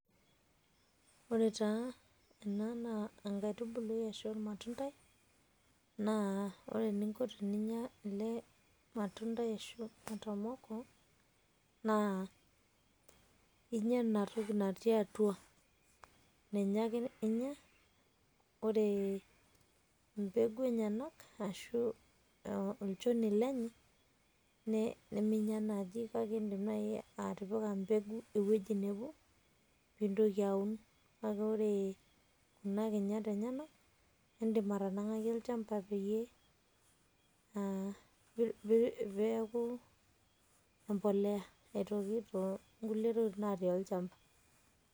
Ore taa ena naa enkaitubului ashuu ormatundai naa ore eninko teninya ele matundai ashu matomoko naa inya ena toki natii atua, ninye ake inya ore embegu enyenak ashuu olchoni lenye nimenya naaji kake idim naaji atipika embegu ewueji nebo pee intoki aun. Kake kore kuna kinyat enyenak indim atanang'aki olchamba peyie aa um peeku embolea aitoki to nkulie tokitin natii olchamba.